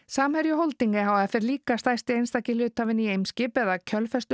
samherji Holding e h f er líka stærsti einstaki hluthafinn í Eimskip eða